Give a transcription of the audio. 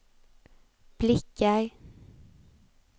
blickar